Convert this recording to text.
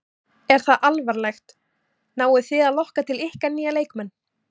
Er það alvarlegt, náið þið að lokka til ykkar nýja leikmenn?